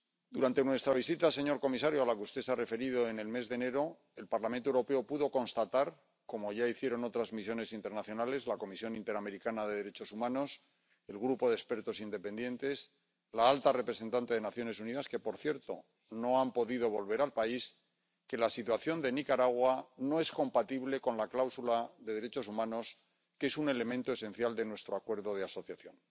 Durante nuestra visita, señor comisario, a la que usted se ha referido, en el mes de enero, el Parlamento Europeo pudo constatar —como ya hicieron otras misiones internacionales, la Comisión Interamericana de Derechos Humanos, el grupo de expertos independientes, la alta representante de las Naciones Unidas, quienes, por cierto, no han podido volver al país— que la situación de Nicaragua no es compatible con la cláusula de derechos humanos, que es un elemento esencial de nuestro Acuerdo de Asociación.